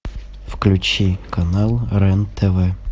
включи канал рен тв